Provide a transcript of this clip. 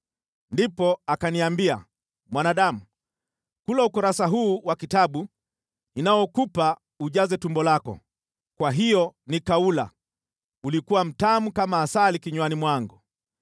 Ndipo akaniambia, “Mwanadamu, kula ukurasa huu wa kitabu ninaokupa ujaze tumbo lako.” Kwa hiyo nikaula, ulikuwa mtamu kama asali kinywani mwangu.